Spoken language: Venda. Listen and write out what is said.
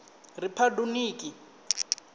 riphabuḽiki